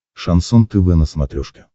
шансон тв на смотрешке